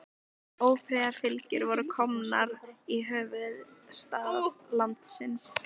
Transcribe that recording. Ófriðarfylgjur voru komnar í höfuðstað landsins.